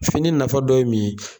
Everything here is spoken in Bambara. Fini nafa dɔ ye mun ye?